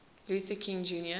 luther king jr